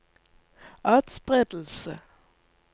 atspredelse